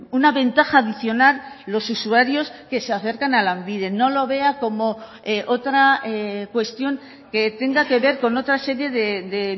una ventaja adicional los usuarios que se acercan a lanbide no lo vea como otra cuestión que tenga que ver con otra serie de